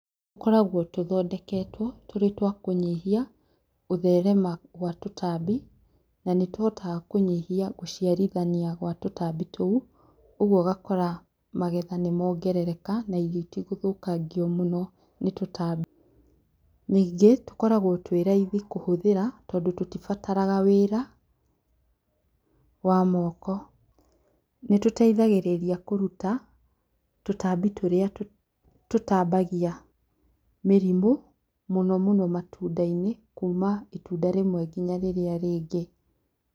Tũkoragwo tũthondeketwo tũrĩ twakũnyihia gũtherema gwa tũtambi. Na nĩtũhotaga kũnyihia gũciarithania gwa tũtambi tũu. ũgwo ũgakora magetha nĩmongerereka na irio itigũthũkangio mũno nĩ tũtambi. Nyingĩ tũkoragwo twĩraithi kũhũthĩra tondũ tũtibataraga wĩra wa moko. Nĩtũteithagĩrĩria kũruta tũtambi tũrĩa tũtambagia mĩrimũ, mũno mũno matunda-inĩ, kuma itunda rĩmwe nginya rĩrĩa rĩngĩ.